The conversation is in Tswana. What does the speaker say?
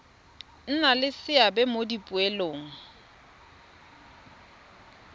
nna le seabe mo dipoelong